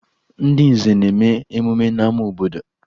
Ndị nze na-eme emume n'ama obodo